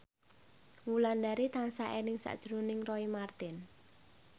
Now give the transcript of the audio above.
Wulandari tansah eling sakjroning Roy Marten